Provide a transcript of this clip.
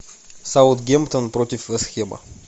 саутгемптон против вест хэма